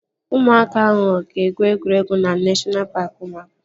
Ụmụaka ahụ aga egwuregwu na neshọna paaki ụmụaka?